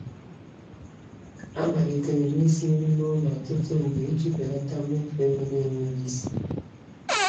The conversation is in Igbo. A malitere m isi nri n'ụlọ ọtụtụ mgbe iji belata mmefu ego n'enweghị isi.